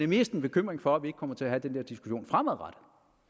mest en bekymring for at vi ikke kommer til at have den der diskussion fremadrettet